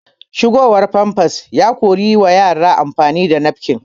Shigowar famfas ya kori yi wa yara amfani da nafkin